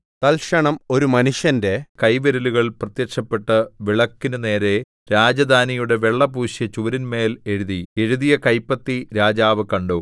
തൽക്ഷണം ഒരു മനുഷ്യന്റെ കൈവിരലുകൾ പ്രത്യക്ഷപ്പെട്ട് വിളക്കിനു നേരെ രാജധാനിയുടെ വെള്ളപൂശിയ ചുവരിന്മേൽ എഴുതി എഴുതിയ കൈപ്പത്തി രാജാവ് കണ്ടു